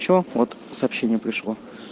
что вот сообщение пришло